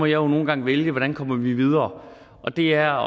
jo nogle gange vælge hvordan vi kommer videre og det er